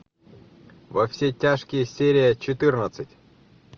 во все тяжкие серия четырнадцать